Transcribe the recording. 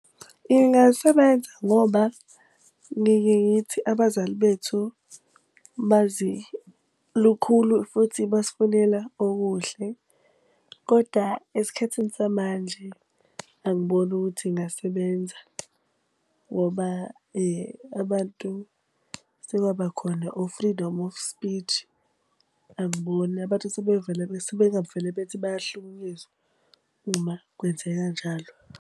Ingasebenza ngoba ngike ngithi abazali bethu, bazi lukhulu futhi basifunela okuhle. Koda esikhathini samanje angiboni ukuthi ingasebenza ngoba abantu sekwaba khona o-freedom of speech. Angiboni abantu sebevele sebengavele bethi bayahlukunyezwa uma kwenzeka njalo.